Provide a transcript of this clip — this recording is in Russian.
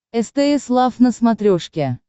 стс лав на смотрешке